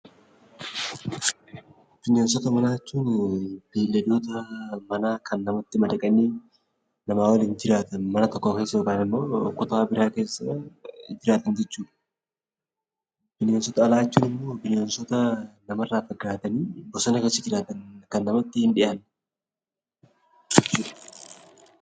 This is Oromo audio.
Bineensota manaa jechuun beeyladoota manaa kan namatti madaqanii mana tokko keessa yookiin kutaa biraa keessa nama waliin jiraatan jechuudha. Bineensota alaa jechuun immoo bineensota nama irraa fagaatanii bosona keessa jiraatan; kan namatti hin dhiyaanne jechuudha.